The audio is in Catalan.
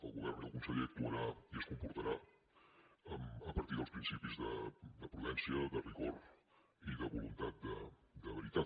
el govern i el conseller actuaran i es comportaran a partir dels principis de prudència de rigor i de voluntat de veritat